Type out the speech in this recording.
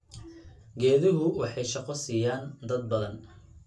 Geeduhu waxay shaqo siiyaan dad badan.